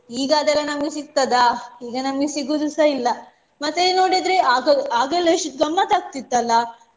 ಈಗಾದರೆ ನಮ್ಗೆ ಸಿಕ್ತತ್ದ ಈಗ ನಮ್ಗೆ ಸಿಗುದುಸ ಇಲ್ಲ. ಮತ್ತೆ ನೋಡಿದ್ರೆ ಅಗಾ~ ಆಗೆಲ್ಲ ಎಷ್ಟು ಗಮ್ಮತ್ತಾಕ್ತಿತ್ತಲ್ಲ